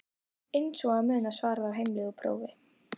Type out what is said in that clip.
Eins og að muna svarið á heimleið úr prófi?